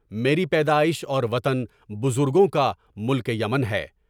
میری پیدائش اور وطن بزرگوں کا ملک یمن ہے۔